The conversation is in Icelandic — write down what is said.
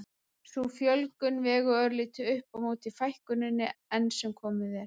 Sú fjölgun vegur örlítið upp á móti fækkuninni enn sem komið er.